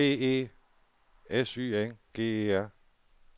B E S Y N G E R